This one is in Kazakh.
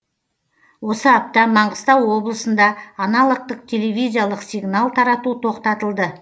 осы апта маңғыстау облысында аналогтық телевизиялық сигнал тарату тоқтатылды